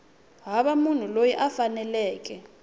hava munhu loyi a faneleke